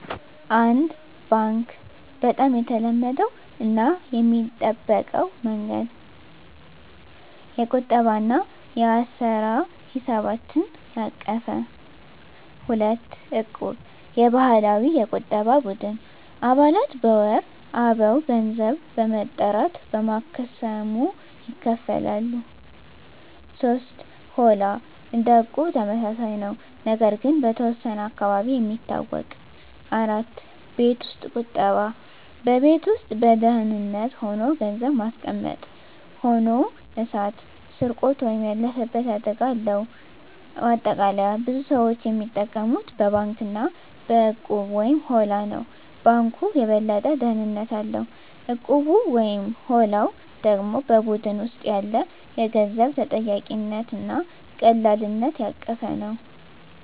1. ባንክ (Bank) - በጣም የተለመደው እና የሚጠበቀው መንገድ። የቁጠባ እና የአሰራ ሂሳቦችን ያቀፈ። 2. እቁብ (Equb) - የባህላዊ የቁጠባ ቡድን። አባላት በወር አበው ገንዘብ በመጠራት በማክሰሞ ይካፈላሉ። 3. ሆላ (Holla) - እንደ እቁብ ተመሳሳይ ነው፣ ነገር ግን በተወሰነ አካባቢ የሚታወቅ። 4. ቤት ውስጥ ቁጠባ (Saving at Home) - በቤት ውስጥ በደህንነት ሆኖ ገንዘብ ማስቀመጥ። ሆኖ እሳት፣ ስርቆት ወይም ያለፈበት አደጋ አለው። ማጠቃለያ ብዙ ሰዎች የሚጠቀሙት በባንክ እና በእቁብ/ሆላ ነው። ባንኩ የበለጠ ደህንነት አለው፣ እቁቡ/ሆላው ደግሞ በቡድን ውስጥ ያለ የገንዘብ ተጠያቂነት እና ቀላልነት ያቀፈ ነው።